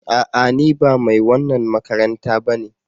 A'a! Ni ba mai wannan makaranta ba ne.